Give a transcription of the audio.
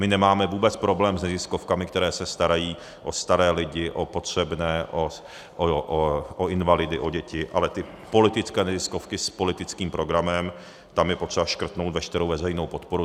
My nemáme vůbec problém s neziskovkami, které se starají o staré lidi, o potřebné, o invalidy, o děti, ale ty politické neziskovky s politickým programem, tam je potřeba škrtnout veškerou veřejnou podporu.